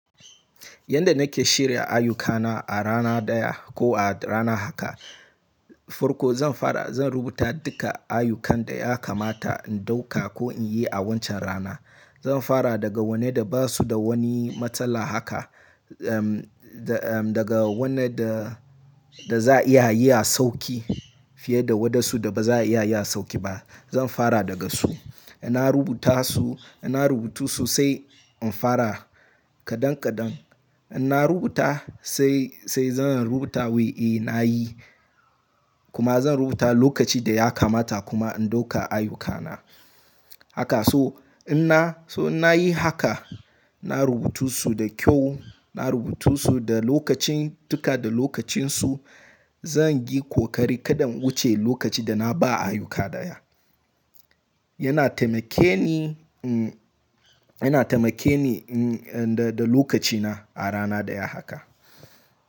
Yanda nake shirya ayyukana a rana daya ko a rana haka, farko zan fara zan rubuta duka ayyukan da ya kamata in dauka ko in yi a wancan rana. Zan fara daga wanne da ba su da wani matsala haka, ehm daga wanne da, da za a iya ayi a sauƙi fiye da waɗansu da ba za a iya yi a sauƙi ba. Zan fara daga su. In na rubuta su, in na rubutu so sai in fara kadan kadan. In na rubuta sai, sai zan rubuta wai eh na yi kuma zan rubuta lokaci da ya kamata kuma in dauka ayyukana. Haka su, in na, so in na yi haka, na rubutu su da kyau, na rubutu su da lokacin duka da lokacinsu. Zan yi ƙoƙari kada in wuce lokaci da na ba ayyuka ɗaya. Yana taimake ni, mm, yana taimake ni, mm, da, da lokacina a rana daya haka.